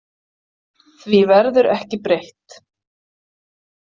Því verður ekki breytt.